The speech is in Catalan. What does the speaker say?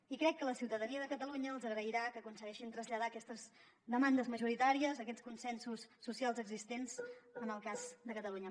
i crec que la ciutadania de catalunya els agrairà que aconsegueixin traslladar aquestes demandes majoritàries aquests consensos socials existents en el cas de catalunya